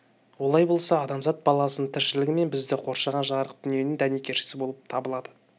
олай болса адамзат баласының тіршілігі мен бізді қоршаған жарық дүниенің дәнекершісі болып табылады